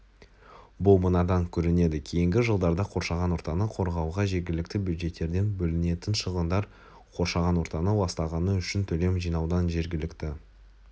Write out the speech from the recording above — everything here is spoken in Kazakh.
бұл мынадан көрінеді кейінгі жылдарда қоршаған ортаны қорғауға жергілікті бюджеттерден бөлінетін шығындар қоршаған ортаны ластағаны үшін төлем жинаудан жергілікті